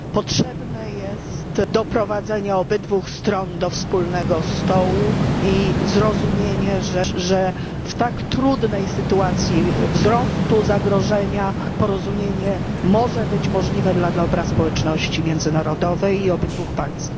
Potrzebne jest doprowadzenie obu stron do wspólnego stołu i zrozumienie, że w tak trudnej sytuacji wzrostu zagrożenia porozumienie może być możliwe dla dobra społeczności międzynarodowej i obydwóch państw.